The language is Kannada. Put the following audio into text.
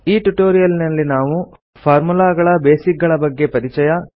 ಈ ಟ್ಯುಟೋರಿಯಲ್ನಲ್ಲಿ ನಾವು ಫಾರ್ಮುಲಾಗಳ ಬೇಸಿಕ್ ಗಳ ಬಗ್ಗೆ ಪರಿಚಯ